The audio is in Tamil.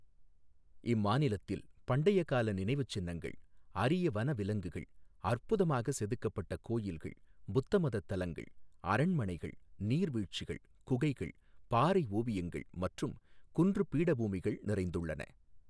இம்மாநிலத்தில் பண்டைய கால நினைவுச் சின்னங்கள், அரிய வனவிலங்குகள், அற்புதமாகச் செதுக்கப்பட்ட கோயில்கள், புத்த மதத் தலங்கள், அரண்மனைகள், நீர்வீழ்ச்சிகள், குகைகள், பாறை ஓவியங்கள் மற்றும் குன்றுப் பீடபூமிகள் நிறைந்துள்ளன.